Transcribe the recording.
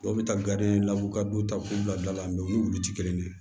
Dɔw bɛ taa la u ka du ta k'u bila bila la u ni wuluw tɛ kelen ye